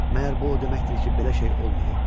Məyər bu o deməkdir ki, belə şey olmayıb?